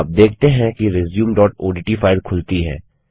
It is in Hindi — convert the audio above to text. आप देखते हैं कि resumeओडीटी फाइल खुलती है